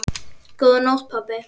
Góða nótt, pabbi.